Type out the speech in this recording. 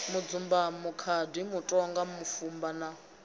mudzumbamo khadi mutoga mufuvha na